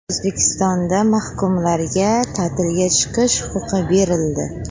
O‘zbekistonda mahkumlarga ta’tilga chiqish huquqi berildi.